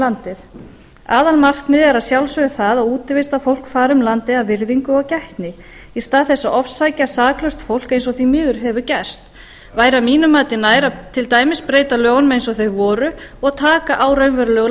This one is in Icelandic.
landið aðalmarkmiðið er að sjálfsögðu það að útivistarfólk fari um landið af virðingu og gætni í stað þess að ofsækja saklaust fólk eins og því miður hefur gerst væri að mínu mati nær að til dæmis breyta lögunum eins og þau voru og taka á raunverulegum